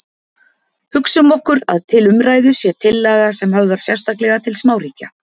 Hugsum okkur að til umræðu sé tillaga sem höfðar sérstaklega til smáríkja.